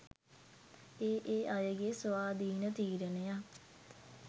ඒ ඒ අයගේ ස්වාධීන තීරණයක්.